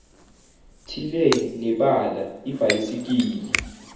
thile nebala ibhayisikili